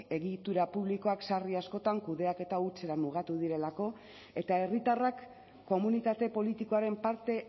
egitura publikoak sarri askotan kudeaketa hutsera mugatu direlako eta herritarrak komunitate politikoaren parte